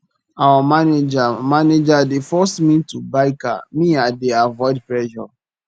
our manager manager dey force me to buy car me i dey avoid pressure